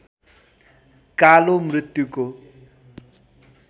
कालो मृत्युको